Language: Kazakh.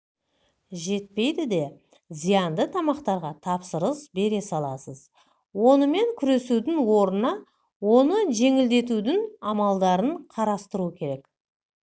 жетпейді де зиянды тамақтарға тапсырыс бере саласыз онымен күресудің орнына оны жеңілдетудің амалдарын қарастыру керек